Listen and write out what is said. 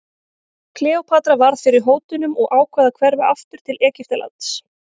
Kleópatra varð fyrir hótunum og ákvað að hverfa aftur til Egyptalands.